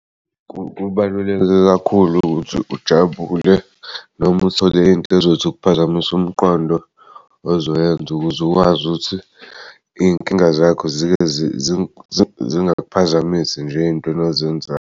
Kubaluleke kakhulu ukuthi ujabule noma uthole into ezothi ukuphazamisa umqondo ozoyenza ukuze ukwazi ukuthi iy'nkinga zakho zike zingakuphazamisi nje ey'ntweni ozenzayo.